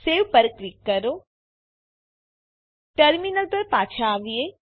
save પર click કરો terminal પર પાછા આવીએ